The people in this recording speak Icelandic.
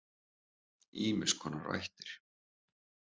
Ýmiss konar vættir.